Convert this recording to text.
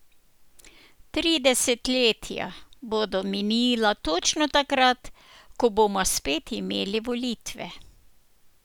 Tri desetletja bodo minila točno takrat, ko bomo spet imeli volitve.